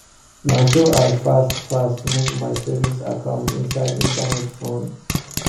na so i fast fast move my savings account inside internet phone